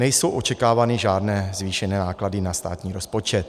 Nejsou očekávány žádné zvýšené náklady na státní rozpočet.